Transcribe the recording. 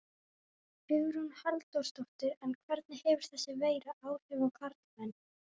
Hugrún Halldórsdóttir: En hvernig hefur þessi veira áhrif á karlmenn?